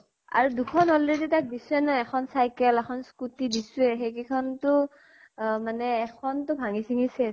আৰু দুখন already তাক দিছোয়ে ন, এখন cycle, এখন scooty দিছোয়ে। সেই কেইখন টো আহ মানে এখন টো ভাঙ্গি চিঙ্গি শেষ।